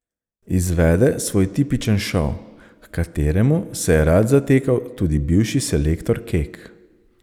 Izvede svoj tipičen šov, h kateremu se je rad zatekal tudi bivši selektor Kek.